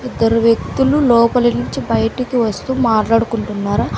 ఇద్దరు వ్యక్తులు లోపలినుంచి బయటికి వస్తు మాట్లాడుకుంటున్నారు.